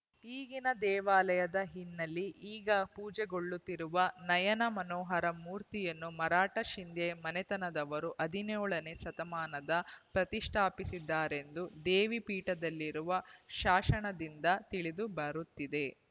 ಈಗಿನ ದೇವಾಲಯದ ಹಿನ್ನೆಲೆ ಈಗ ಪೂಜೆಗೊಳ್ಳುತ್ತಿರುವ ನಯನಮನೋಹರ ಮೂರ್ತಿಯನ್ನು ಮರಾಠ ಶಿಂಧ್ಯಾ ಮನೆತನದವರು ಹದಿನೆಯೊಳನೇ ಶತಮಾನದಲ್ಲಿ ಪ್ರತಿಷ್ಠಾಪಿಸಿದ್ದಾರೆಂದು ದೇವಿ ಪೀಠದಲ್ಲಿರುವ ಶಾಸನದಿಂದ ತಿಳಿದು ಬರುತ್ತಿದೆ